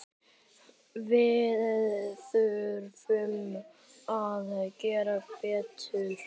Við þurfum að gera betur.